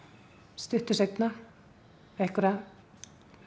stuttu seinna einhverja